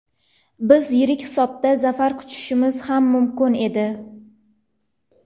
Biz yirik hisobda zafar quchishimiz ham mumkin edi.